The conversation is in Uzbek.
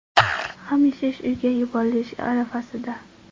ham yashash uyga yuborilish arafasida.